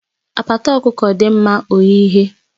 Apata ọkụkọ dị mma oyiye